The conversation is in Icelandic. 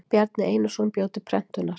Bjarni Einarsson bjó til prentunar.